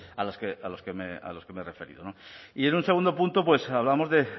a los que me he referido y en un segundo punto pues hablamos de